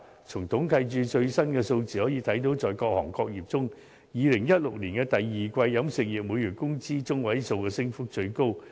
從統計處最新的數字可見，在各行各業中 ，2016 年第二季飲食業每月工資中位數的升幅最高。